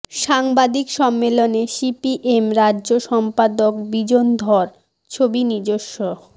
সাংবাদিক সম্মেলনে সিপিএম রাজ্য সম্পাদক বিজন ধর ছবি নিজস্ব